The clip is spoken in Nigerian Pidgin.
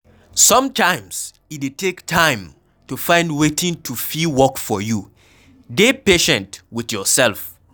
Sometimes e dey take time to find wetin to fit work for you, dey patient with yourself